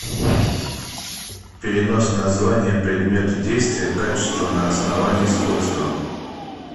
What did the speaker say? перенос названия предмета действия качества на основании сходства